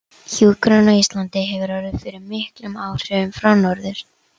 Hjúkrun á Íslandi hefur orðið fyrir miklum áhrifum frá Norður